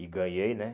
E ganhei, né?